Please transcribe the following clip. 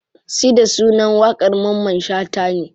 Sida sunan waƙar mamman shata ne.